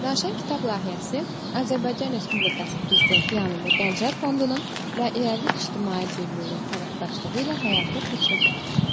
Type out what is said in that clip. Ləşən kitab layihəsi Azərbaycan Respublikası Prezidenti yanında Gənclər Fondunun və İrəli ictimai birliyinin tərəfdaşlığı ilə həyata keçirilir.